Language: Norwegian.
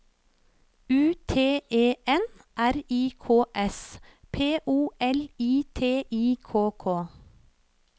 U T E N R I K S P O L I T I K K